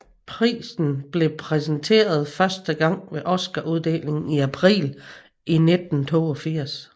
Prisen blev præsenteret første gang ved Oscaruddelingen i april 1982